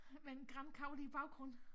Med en grankogle i baggrunden